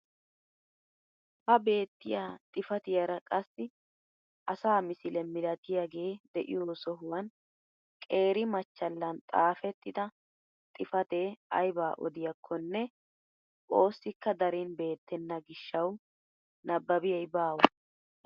Ha beettiyaa xifatiyaara qassi asaa misile milatiyaagee de'iyoo sohuwaan qeeri machchallan xaafettida xifatee aybaa odiyaakkonne oosikka darin beettena giishshawu nibaabiyay baawa!